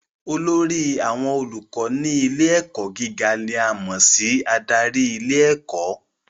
Olórí àwọn olùkọ́ ní ilé ẹ̀kọ́ gíga ni a mọ̀ sí adarí ilé ẹ̀kọ́